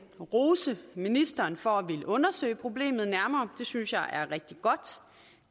og rose ministeren for at ville undersøge problemet nærmere det synes jeg er rigtig godt